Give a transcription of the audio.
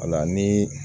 Wala ni